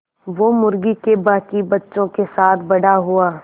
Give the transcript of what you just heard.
वो मुर्गी के बांकी बच्चों के साथ बड़ा हुआ